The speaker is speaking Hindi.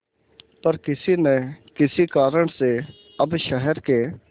पर किसी न किसी कारण से अब शहर के